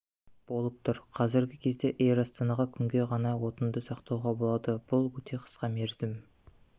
болып тұр қазіргі кезде эйр астанаға күнге ғана отынды сақтауға болады бұл өте қысқа мерзім